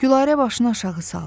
Gülarə başını aşağı saldı.